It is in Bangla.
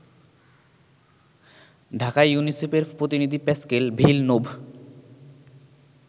ঢাকায় ইউনিসেফের প্রতিনিধি প্যাসকেল ভিলনোভ